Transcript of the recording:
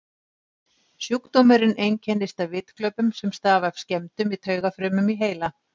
Sjúkdómurinn einkennist af vitglöpum sem stafa af skemmdum í taugafrumum í heila.